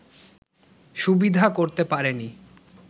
সুবিধা করতে পারেনি